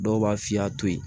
Dɔw b'a f'i y'a to yen